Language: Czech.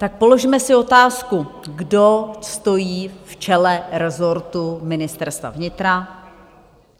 Tak položme si otázku - kdo stojí v čele rezortu Ministerstva vnitra?